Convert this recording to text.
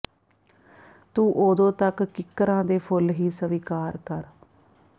ਤੂੰ ਉਦੋਂ ਤਕ ਕਿਕਰਾਂ ਦੇ ਫੁਲ ਹੀ ਸਵੀਕਾਰ ਕਰ